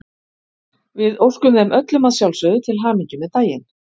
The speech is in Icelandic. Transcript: Við óskum þeim öllum að sjálfsögðu til hamingju með daginn.